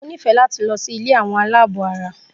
Mo nifẹ láti lọ sí ilé àwọn aláàbọ̀ara.